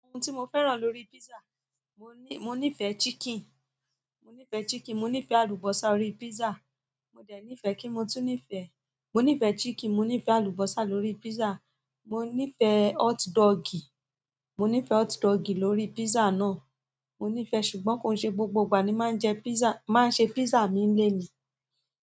Ohun tí mo fẹ́ràn lórí pizza, mo ní mo nífẹ̀ẹ́ chicken, mo nífẹ̀ẹ́ chicken, mo nífẹ̀ẹ́ àlùbọ́sà órí pizza. Mo dẹ̀ nífẹ̀ẹ́, kíni mo tún nífẹ̀ẹ́, mo nífẹ̀ẹ́ chicken, mo nífẹ̀ẹ́ àlùbọ́sà lórí pizza. Mo nífẹ̀ẹ́ hot-dog, mo nífẹ̀ẹ́ hot-dog lórí pizza náà. Mo nífẹ̀ẹ́, ṣùgbọ́n kò yi ṣe gbogbo ìgbà ni máa ń jẹ pizza, máa ń ṣe pizza mi nile ni.